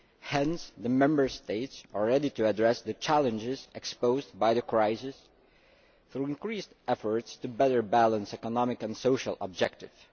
Hence the Member States are ready to address the challenges exposed by the crisis, through increased efforts to better balance economic and social objectives.